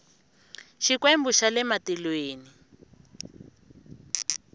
xikwembu xa le matilweni